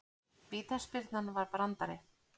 Vítaspyrnan var brandari